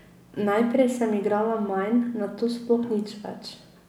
Najprej sem igrala manj, nato sploh nič več.